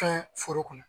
Fɛn foro kɔnɔ